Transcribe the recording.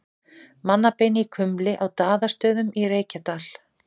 Mannabein í kumli á Daðastöðum í Reykjadal.